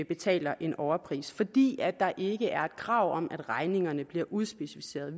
betaler en overpris fordi der ikke er et krav om at regningerne bliver udspecificeret